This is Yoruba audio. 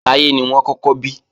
Táyé ni wọ́n kọ́kọ́ bí